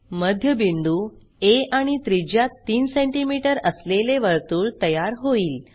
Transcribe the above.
मध्यबिंदू आ आणि त्रिज्या 3सेंटीमीटर असलेले वर्तुळ तयार होईल